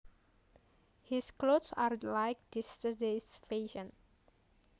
His clothes are like yesterdays fashion